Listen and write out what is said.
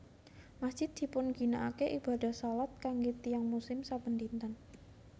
Masjid dipun ginakaken ibadah shalat kanggé tiyang muslim saben dinten